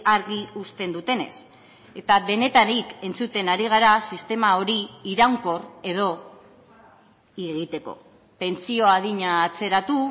argi uzten dutenez eta denetarik entzuten ari gara sistema hori iraunkor edo egiteko pentsio adina atzeratu